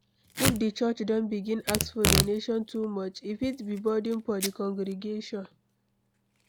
if di church don begin ask for donation too much, e fit be burden for di congregation